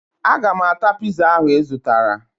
Aga m ata piza ahụ ị zụtara